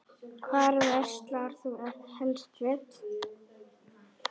Hvar verslar þú helst föt?